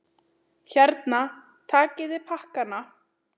Hérna, takiði pakkana!